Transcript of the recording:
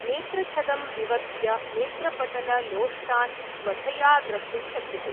नेत्रछदं विवर्त्य नेत्रपटललोष्टान् स्वधया द्रष्टुं शक्यते।